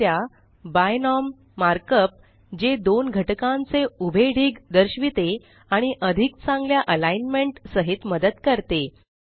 लक्ष द्या बिनोम मार्कअप जे दोन घटकांचे उभे ढीग दर्शविते आणि अधिक चांगल्या अलाइनमेंट सहित मदत करते